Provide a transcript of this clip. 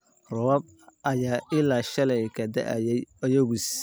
Roobab ayaa ilaa shalay ka da'ayay Oyugis